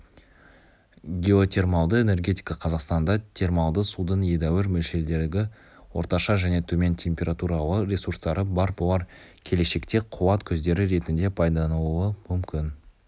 геотермалды энергетика қазақстанда термалды судың едәуір мөлшердегі орташа және төмен температуралы ресурстары бар бұлар келешекте қуат көздері ретінде пайдаланылуы мүмкін